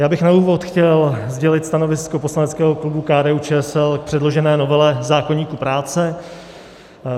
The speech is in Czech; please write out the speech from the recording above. Já bych na úvod chtěl sdělit stanovisko poslaneckého klubu KDU-ČSL k předložené novele zákoníku práce.